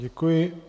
Děkuji.